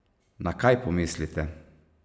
Na kaj pomislite?